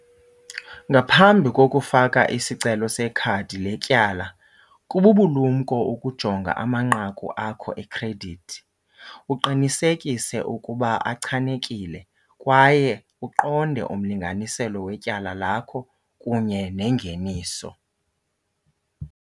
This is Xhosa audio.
Ngaphambi kokufaka isicelo sekhadi letyala kububulumko ukujonga amanqaku akho ekhredithi, uqinisekise ukuba achanekile kwaye uqonde umlinganiselo wetyala lakho kunye nengeniso.